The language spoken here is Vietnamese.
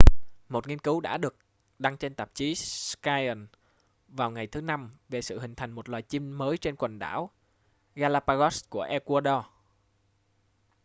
một nghiên cứu đã được đăng trên tạp chí science vào ngày thứ năm về sự hình thành một loài chim mới trên quần đảo galápagos của ecuador